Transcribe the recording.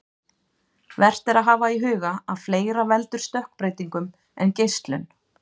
Vert er að hafa í huga að fleira veldur stökkbreytingum en geislun.